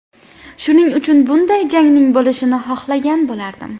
Shuning uchun bunday jangning bo‘lishini xohlagan bo‘lardim.